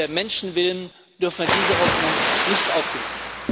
Um der Menschen Willen dürfen wir diese Hoffnung nicht aufgeben.